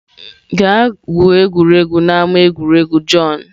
gaa gwuo egwu n'ama egwuregwu john!